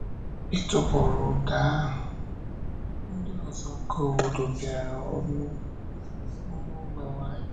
Ịtụpụrụ ụda ahụ, ndị ọzọ nke obodo bịara ọnụ n’ụlọ anyị. n’ụlọ anyị.